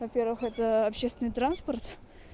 во первых это общественный транспорт